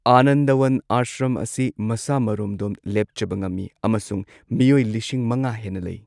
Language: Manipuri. ꯑꯥꯅꯟꯗꯋꯥꯟ ꯑꯥꯁ꯭ꯔꯝ ꯑꯁꯤ ꯃꯁꯥ ꯃꯔꯣꯝꯗꯣꯝ ꯂꯦꯞꯆꯕ ꯉꯝꯃꯤ ꯑꯃꯁꯨꯡ ꯃꯤꯑꯣꯢ ꯂꯤꯁꯤꯡ ꯃꯉꯥ ꯍꯦꯟꯅ ꯂꯩ꯫